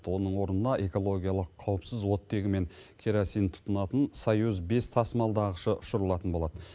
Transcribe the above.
оның орнына экологиялық қауіпсіз оттегі мен керосин тұтынатын союз бес тасымалдағышы ұшырылатын болады